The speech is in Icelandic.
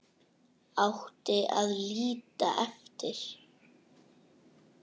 Átti að líta eftir